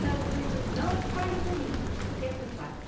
Tá doendo, não fale comigo, você é culpado.